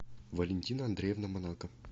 валентина андреевна монако